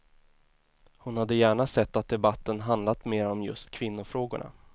Hon hade gärna sett att debatten handlat mer om just kvinnofrågorna.